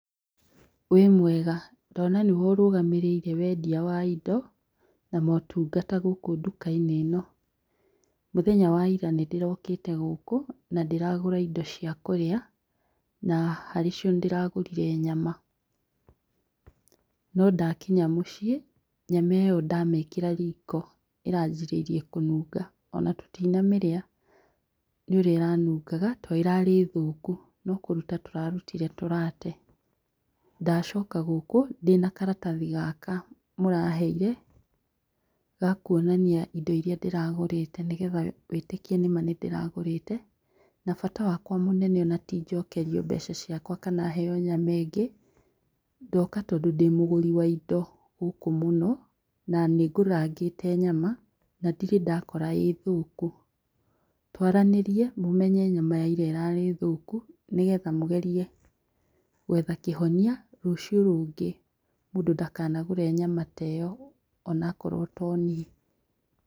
Wĩ mwega? Ndona nĩwe ũrũgamĩrĩire wendia wa indo na motungata gũkũ ndukainĩ ĩno. Mũthenya wa ira nĩndĩrokĩte gũkũ na ndĩragũra indo cia kũrĩa, na harĩ cio nĩndĩragũrire nyama. No ndakinya mũciĩ nyama ĩyo ndamĩkĩra riko iranjĩrĩire kũnũnga, ona tũtinamĩrĩa nĩũrĩa ĩranungaga, ta ĩrarĩ thũku no kũrũta tũrarutire tũrate. Ndacoka gũkũ ndĩna karatathi gaka mũraheire, gakuonania indo iria ndĩragũrĩte nĩgetha wĩtĩkie nĩma nĩndĩragũrĩte, na bata wakwa mũnene ona ti atĩ njokerio mbeca ciakwa kana heo nyama ingĩ, ndoka tondũ ndĩ mũgũri wa indo gũkũ mũno na nĩngũragangĩte nyama, na ndirĩ ndakora ĩ thũku. Twaranĩrie mũmenye nyama ya ira ĩrarĩ thũku nĩgetha mũgerie gwetha kĩhonia rũciũ rũngĩ mũndũ ndakanagũre nyama ta ĩyo onakorwo to niĩ.